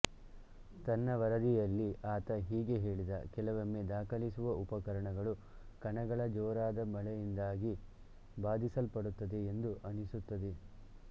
ತನ್ನ ವರದಿಯಲ್ಲಿ ಆತ ಹೀಗೆ ಹೇಳಿದ ಕೆಲವೊಮ್ಮೆ ದಾಖಲಿಸುವ ಉಪಕರಣಗಳು ಕಣಗಳ ಜೋರಾದ ಮಳೆಯಿಂದಾಗಿ ಬಾಧಿಸಲ್ಪಡುತ್ತದೆ ಎಂದು ಅನಿಸುತ್ತದೆ